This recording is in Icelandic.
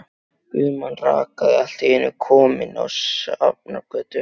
Guðmann rakari allt í einu kominn á Sjafnargötu.